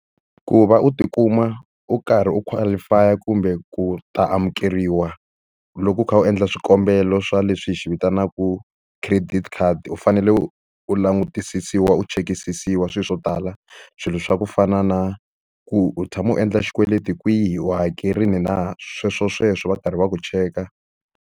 Ku va u tikuma u karhi u qualify-a kumbe ku ta amukeriwa loko u kha u endla swikombelo swa leswi hi xi vitanaka credit card, u fanele u u langutisisiwa u chekisisiwa swilo swo tala. Swilo swa ku fana na ku u tshama u endla xikweleti kwihi, u hakerile na. Sweswosweswo va karhi va ku cheka.